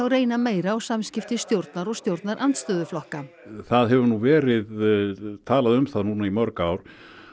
reyna meira á samskipti stjórnar og stjórnarandstöðuflokka það hefur nú verið talað um það í mörg ár